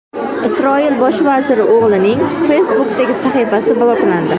Isroil bosh vaziri o‘g‘lining Facebook’dagi sahifasi bloklandi.